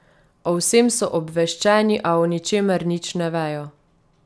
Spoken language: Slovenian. O vsem so obveščeni, a o ničemer nič ne vejo.